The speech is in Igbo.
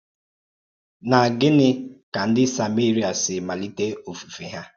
Nà gínị̀ kà ǹdí samería sì màlítè ofùfé hà?